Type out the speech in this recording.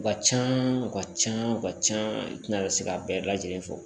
U ka can u ka ca u ka can i tɛna se k'a bɛɛ lajɛlen fɔ